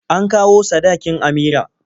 An kawo sadakin Amira.